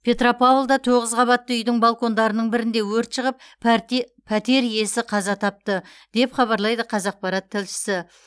петропавлда тоғыз қабатты үйдің балкондарының бірінде өрт шығып пәрте пәтер иесі қаза тапты деп хабарлайды қазақпарат тілшісі